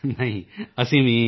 ਨਹੀਂ ਅਸੀਂ ਵੀ ਜੋ